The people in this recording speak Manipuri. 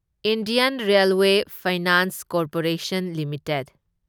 Indian railway finance corporation limited